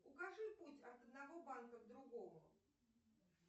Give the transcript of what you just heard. укажи путь от одного банка к другому